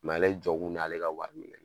ale jɔ kun ne ale ka wari minɛ